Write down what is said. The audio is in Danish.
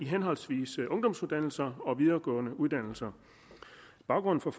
henholdsvis ungdomsuddannelser og de videregående uddannelser baggrunden for